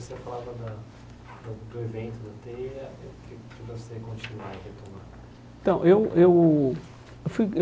Mas se você falava da da do evento da teia, que você continuaria a retomar? Então eu eu eu fui